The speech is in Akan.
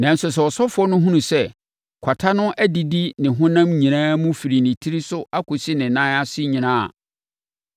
“Nanso sɛ ɔsɔfoɔ no hunu sɛ kwata no adidi ne honam nyinaa firi ne tiri so kɔsi ne nan ase nyinaa a,